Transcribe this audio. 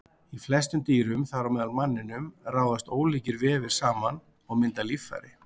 Í flestum dýrum, þar á meðal manninum, raðast ólíkir vefir saman og mynda líffæri.